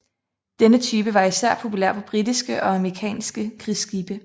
Denne type var især populær på britiske og amerikanske krigsskibe